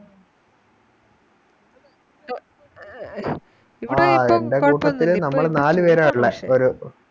ആ എൻറെ കൂട്ടത്തില് നമ്മള് നാല് പേരാ ഉള്ളെ ഒരു